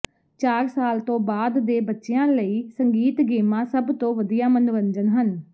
ਚਾਰ ਸਾਲ ਤੋਂ ਬਾਅਦ ਦੇ ਬੱਚਿਆਂ ਲਈ ਸੰਗੀਤ ਗੇਮਾਂ ਸਭ ਤੋਂ ਵਧੀਆ ਮਨੋਰੰਜਨ ਹਨ